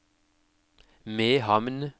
Mehamn